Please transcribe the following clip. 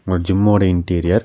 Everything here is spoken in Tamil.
ஒரு ஜிம் ஓட இண்டிரியர் .